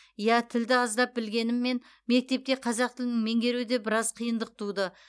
иә тілді аздап білгеніммен мектепте қазақ тілін меңгеруде біраз қиындық туды